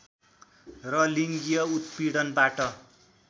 र लिङ्गिय उत्पीडनबाट